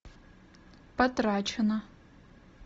потрачено